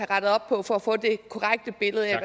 rettet op på for at få det korrekte billede af